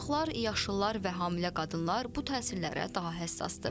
Uşaqlar, yaşlılar və hamilə qadınlar bu təsirlərə daha həssasdır.